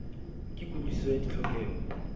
ke kutlwi siso ya ditlhokeho